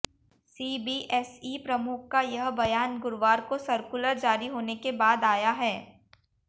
CBSE प्रमुख का यह बयान गुरुवार को सर्कुलर जारी होने के बाद आया है